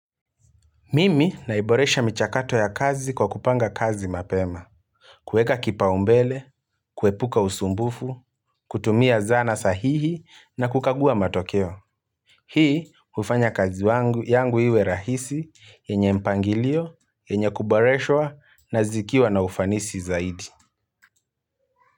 Mimi naiboresha michakato ya kazi kwa kupanga kazi mapema. Kuweka kipaumbele, kuepuka usumbufu, kutumia zana sahihi na kukagua matokeo. Hii hufanya kazi yangu iwe rahisi yenye mpangilio, yenye kuboreshwa na zikiwa na ufanisi zaidi.